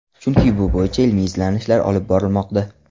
Chunki bu bo‘yicha ilmiy izlanishlar olib borilmoqda.